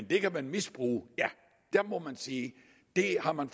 det kan man misbruge ja der må man sige det har man